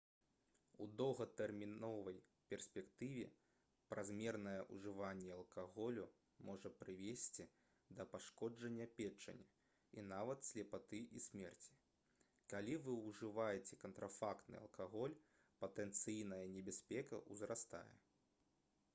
у доўгатэрміновай перспектыве празмернае ўжыванне алкаголю можа прывесці да пашкоджання печані і нават слепаты і смерці калі вы ўжываеце кантрафактны алкаголь патэнцыйная небяспека ўзрастае